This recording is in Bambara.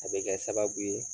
A bɛ kɛ sababu ye